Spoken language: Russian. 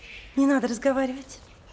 не надо разговаривать